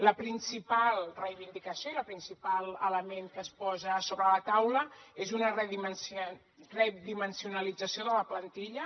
la principal reivindicació i el principal element que es posa sobre la taula és una redimensionalització de la plantilla